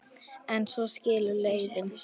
En svo skilur leiðir.